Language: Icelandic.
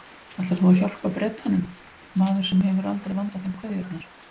Ætlar þú að hjálpa Bretanum, maður sem hefur aldrei vandað þeim kveðjurnar?